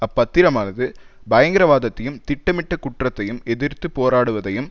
அப்பத்திரமானது பயங்கரவாதத்தையும் திட்டமிட்ட குற்றத்தையும் எதிர்த்து போராடுவதையும்